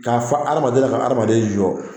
K'a fɔ hadamaden ye, a ka hadamaden jɔɔ.